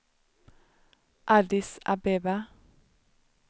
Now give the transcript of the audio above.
Addis Abeba